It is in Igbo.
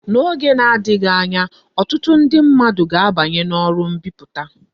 N'oge na-adighi anya, otutu ndi mmadu ga abanyi na oru mbiputa